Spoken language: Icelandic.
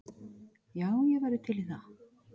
Já, ég væri til í það.